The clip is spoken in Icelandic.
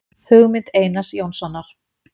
Hugmynd Einars Jónssonar